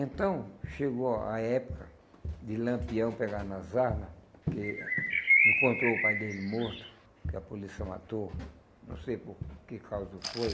Então, chegou a época de Lampião pegar nas armas, que encontrou o pai dele morto, que a polícia matou, não sei por que causa foi.